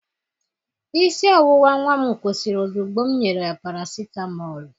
Isi ọwụwa nwa m kwụsịrị ozugbo m nyere ya parasitamọlụ